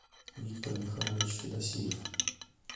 виктор михайлович федосеев